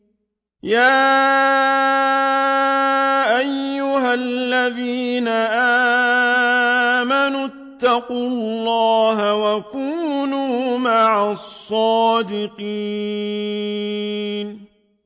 يَا أَيُّهَا الَّذِينَ آمَنُوا اتَّقُوا اللَّهَ وَكُونُوا مَعَ الصَّادِقِينَ